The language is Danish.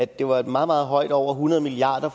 der var et meget meget højt over hundrede milliard